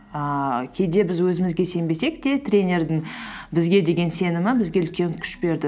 ііі кейде біз өзімізге сенбесек те тренердің бізге деген сенімі бізге үлкен күш берді